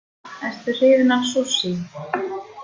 Ertu hrifin af sushi?